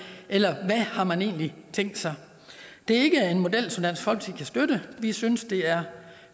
eller hvad har man egentlig tænkt sig det er ikke en model som dansk folkeparti kan støtte vi synes det er